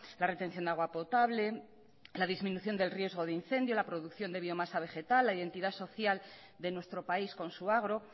la retención de agua potable la disminución del riesgo de incendio la producción de biomasa vegetal la identidad social de nuestro país con su agro